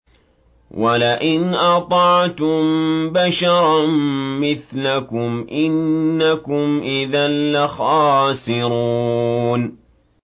وَلَئِنْ أَطَعْتُم بَشَرًا مِّثْلَكُمْ إِنَّكُمْ إِذًا لَّخَاسِرُونَ